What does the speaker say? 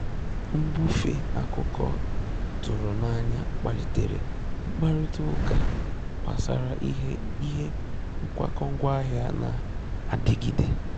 Mbùfè akụ́kọ́ tụ́rụ̀ n'anya kpàlìtèrè mkpàrị́tà ụ́kà gbasara ìhè ìhè nkwàkọ́ ngwáàhị̀à nà-àdìgídè.